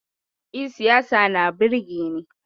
No, I like politics.